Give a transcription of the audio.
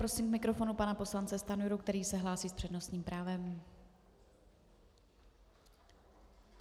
Prosím k mikrofonu pana poslance Stanjuru, který se hlásí s přednostním právem.